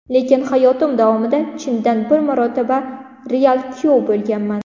Lekin hayotim davomida chindan bir marotaba real kuyov bo‘lganman.